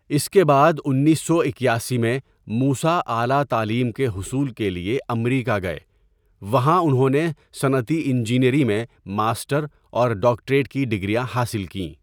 اس کے بعد انیس سو اکیاسی میں موسٰی اعلٰی تعلیم کے حصول کے لیے امریکا گئے وہاں انہوں نے صنعتی انجینئری میں ماسٹر اور ڈاکٹریٹ کی ڈگریاں حاصل کیں.